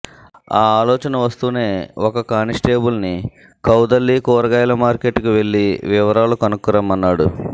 ఆ ఆలోచన వస్తూనే ఒక కానిస్టేబుల్ ని కౌదల్లి కూరగాయల మార్కెట్ కి వెళ్ళి వివరాలు కనుక్కురమ్మన్నాడు